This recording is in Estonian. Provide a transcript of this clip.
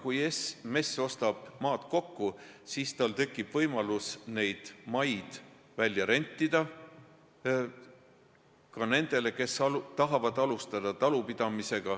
Kui MES ostab maad kokku, siis tal tekib võimalus neid maatükke välja rentida ka nendele, kes tahavad alustada talupidamist.